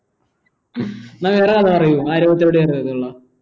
എന്ന വേറെ കഥ പറയു ആരോഗ്യത്തെയോടെ അർഹതയുള്ള